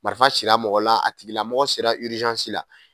Marifan cira mɔgɔ la a tigila mɔgɔ sera la.